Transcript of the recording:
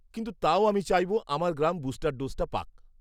কিন্তু তাও আমি চাইব আমার গ্রাম বুস্টার ডোজটা পাক।